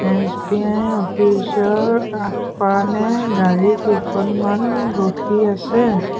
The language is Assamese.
এছ_বি_আই অফিচ ৰ আগফানে গাড়ী কেইখনমান ৰখি আছে।